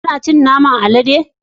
Kana cin naman alade?